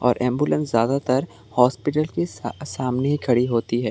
और एंबुलेंस ज्यादातर हॉस्पिटल के सा सामने ही खड़ी होती है।